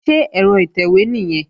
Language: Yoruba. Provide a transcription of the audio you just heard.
Ṣé ẹ̀rọ ìtẹ̀wé nìyẹn?